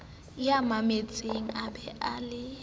ya mametseng a be le